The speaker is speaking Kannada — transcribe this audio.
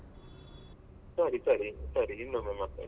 ಸರಿ ಸರಿ ಸರಿ ಇನ್ನೊಮ್ಮೆ ಮಾತಾಡ್ವ.